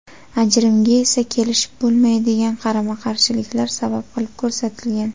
Ajrimga esa kelishib bo‘lmaydigan qarama-qarshiliklar sabab qilib ko‘rsatilgan.